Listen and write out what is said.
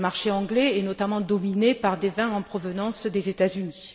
Le marché anglais est notamment dominé par des vins en provenance des États Unis.